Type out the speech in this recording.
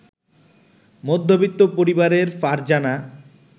মধ্যবিত্ত পরিবারের ফারজানা